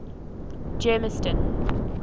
germiston